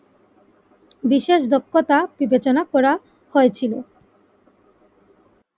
বিশেষ দক্ষতা বিবেচনা করা হয়েছিল